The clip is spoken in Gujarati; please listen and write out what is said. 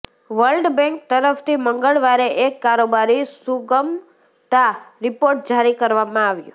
વર્લ્ડ બેન્ક તરફથી મંગળવારે એક કારોબારી સુગમતા રિપોર્ટ જારી કરવામાં આવ્યો